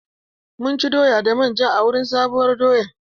Mun ci doya da manja a wurin bikin sabuwar doya.